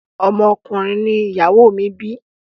Ọmọ ọkùnrin ni ìyàwó mi bi.